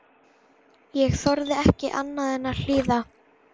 Ég þorði ekki annað en að hlýða.